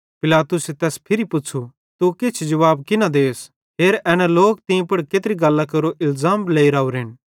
पिलातुसे तैस फिरी पुच़्छ़ू तू किछ भी जुवाब की न देस हेर एना लोक तीं पुड़ केत्री गल्लां केरो इलज़ाम लेइ राओरेन